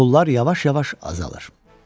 Pullar yavaş-yavaş azalar.